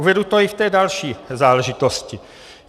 Uvedu to i v té další záležitosti.